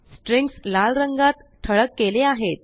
strings लाल रंगातठळक केले आहेत